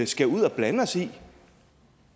skal ud og blande os i